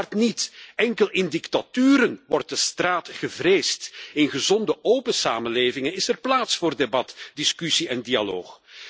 Uiteraard niet! Alleen in dictaturen wordt de straat gevreesd. In gezonde, open samenlevingen is er plaats voor debat, discussie en dialoog.